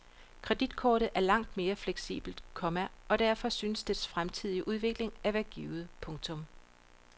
Kreditkortet er langt mere fleksibelt, komma og derfor synes dets fremtidige udvikling at være givet. punktum